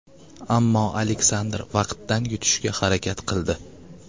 Ammo Aleksandr vaqtdan yutishga harakat qildi.